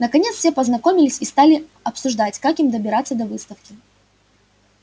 наконец все познакомились и стали обсуждать как им добираться до выставки